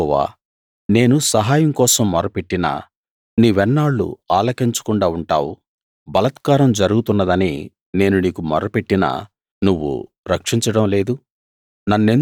యెహోవా నేను సహాయం కోసం మొర్రపెట్టినా నీవెన్నాళ్లు ఆలకించకుండా ఉంటావు బలాత్కారం జరుగుతున్నదని నేను నీకు మొర్రపెట్టినా నువ్వు రక్షించడం లేదు